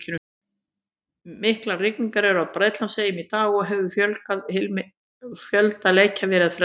Miklar rigningar eru á Bretlandseyjum í dag og hefur fjölda leikja verið frestað.